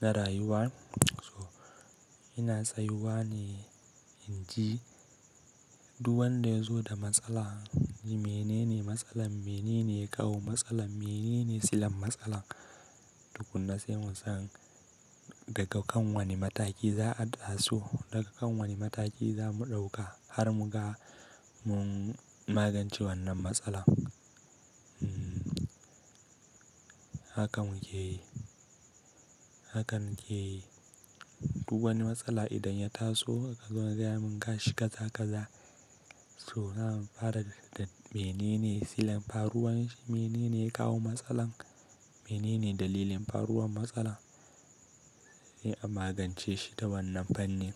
na rayuwa, so ina tsayuwa ne in ji duk wanda ya zo da matsala, menene matsalar, menene ya kawo matsalar, menene silan matsalar. Tukunna sai mu san daga kan wane mataki za a tasu, daga kan wane mataki za mu ɗauka har mu ga mun magance wannan matsalar. Haka muke yi, haka muke yi. Duk wani matsala idan ya taso, za, a gaya mun gashi kaza kaza. Toh nan fara daga menene silan faruwan shi, menene ya kawo matsalar, menene dalilin faruwan matsalar, sai a magance shi da wannan fanni.